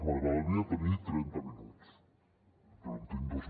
m’agradaria tenir trenta minuts però en tinc dos